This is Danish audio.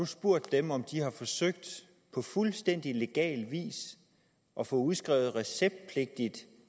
spurgt dem om de enten har forsøgt på fuldstændig legal vis at få udskrevet receptpligtig